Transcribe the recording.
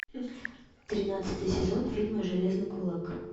тринадцатый сезон фильма железный кулак